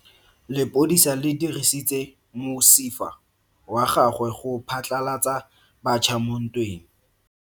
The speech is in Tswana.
Lepodisa le dirisitse mosifa wa gagwe go phatlalatsa batšha mo ntweng.